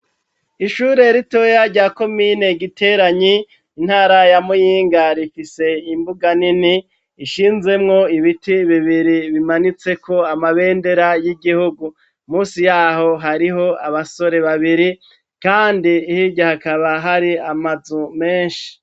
Ishure ritoya rya komine Giteranyi intara ya Muyinga rifise imbuga nini ishinzemwo ibiti bibiri bimanitseko amabendera y'igihugu, musi yaho hariho abasore babiri kandi hirya hakaba hari amazu menshi.